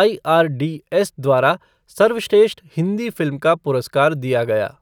IRDS. द्वारा सर्वश्रेष्ठ Hindi film का पुरस्कार दिया गया।